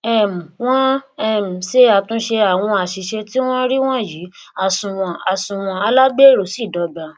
um wọn um ṣe àtúnṣe àwọn àṣìṣe tí wọn rí wọnyí àsunwọn àsunwọn alágbèéró sì dọgba